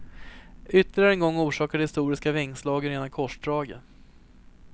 Ytterligare en gång orsakar de historiska vingslagen rena korsdraget.